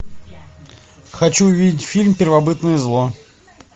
хочу увидеть фильм первобытное зло